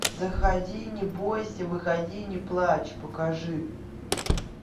заходи не бойся выходи не плачь покажи